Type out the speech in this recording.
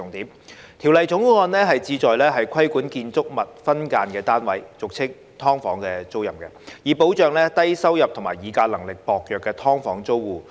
《2021年業主與租客條例草案》旨在規管建築物分間單位的租賃，以保障低收入及議價能力薄弱的"劏房"租戶。